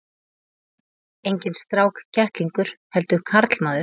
Enginn strákkettlingur heldur karlmaður.